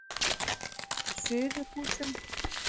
Suðurhúsum